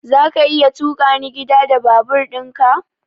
Zaka iya tukani gida da babur ɗin ka?